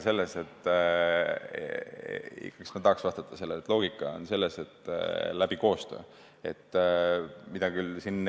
Ma tahaks vastata sellele nii, et loogika on selles, et koostöö abil.